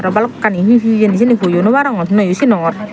aro balokkani he he hejeni siyeni hoyo no barongor noyo sinongor.